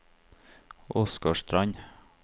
Åsgårdstrand